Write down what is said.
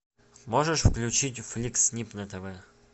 можешь включить фликс снип на тв